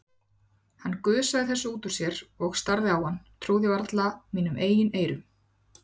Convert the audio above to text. Hann gusaði þessu út úr sér, ég starði á hann, trúði varla mínum eigin eyrum.